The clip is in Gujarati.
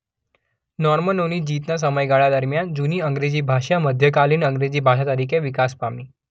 નોર્મનોની જીતના સમયગાળા દરમિયાન જૂની અંગ્રેજી ભાષા મધ્યકાલીન અંગ્રેજી ભાષા તરીકે વિકાસ પામી.